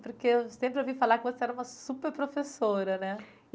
Porque eu sempre ouvi falar que você era uma super professora, né?